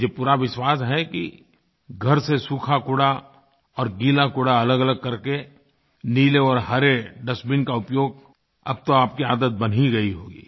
मुझे पूरा विश्वास है कि घर से सूखाकूड़ा और गीलाकूड़ा अलगअलग करके नीले और हरे डस्टबिन का उपयोग अब तो आपकी आदत बन ही गई होगी